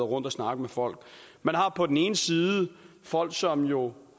rundt og snakke med folk man har på den ene side folk som jo